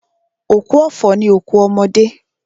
Òkú ọ̀fọ̀ ni òkú ọmọdé.